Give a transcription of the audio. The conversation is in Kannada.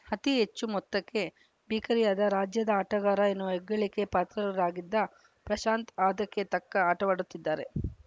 ಅತಿಹೆಚ್ಚು ಮೊತ್ತಕ್ಕೆ ಬಿಕರಿಯಾದ ರಾಜ್ಯದ ಆಟಗಾರ ಎನ್ನುವ ಹೆಗ್ಗಳಿಕೆ ಪಾತ್ರರಾಗಿದ್ದ ಪ್ರಶಾಂತ್‌ ಆದಕ್ಕೆ ತಕ್ಕ ಆಟವಾಡುತ್ತಿದ್ದಾರೆ